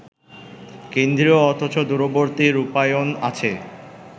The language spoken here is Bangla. কেন্দ্রীয় অথচ দূরবর্তী রূপায়ণ আছে